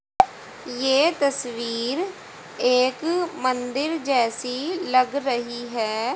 ये तस्वीर एक मंदिर जैसी लग रही है।